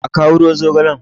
a kawo ruwan zogalen!